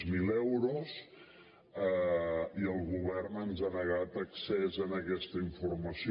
zero euros i el govern ens ha negat accés a aquesta informació